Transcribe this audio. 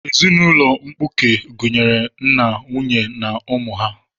Ezinaụlọ mkpuke gụnyere nna, nwunye na ụmụ ha.